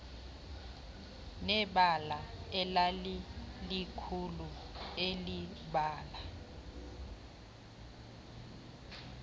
nebala elalilikhulu elibala